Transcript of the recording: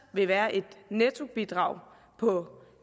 vil være et nettobidrag på